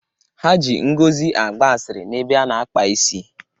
Ha ji Ngozi gbaa asịrị n'ebe a na-akpa isi.